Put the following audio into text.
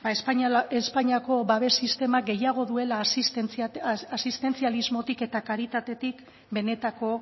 espainiako babes sistemak gehiago duela asistentzialismotik eta karitatetik benetako